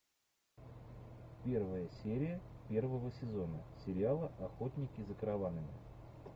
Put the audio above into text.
первая серия первого сезона сериала охотники за караванами